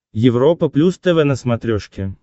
европа плюс тв на смотрешке